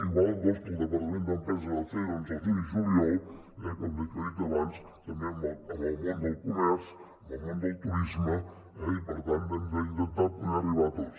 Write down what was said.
igual que el departament d’empresa va fer doncs al juny i juliol com he dit abans també amb el món del comerç amb el món del turisme i per tant hem d’intentar poder arribar a tots